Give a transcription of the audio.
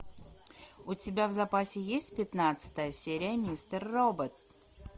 у тебя в запасе есть пятнадцатая серия мистер робот